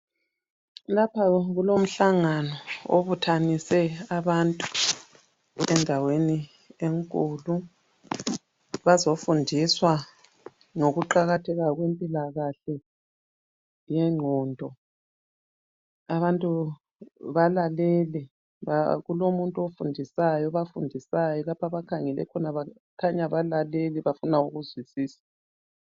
Lapha kulomhlangano obuthanise abantu endaweni enkulu bazofundiswa ngokuqakatheka kwempilakahle yengqondo abantu balalele , kulomuntu ofundisayo, obafundisayo lapho abakhangele khona khanya balalele bafuna ukuzwisisa